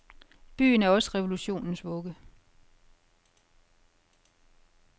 Byen er også revolutionens vugge.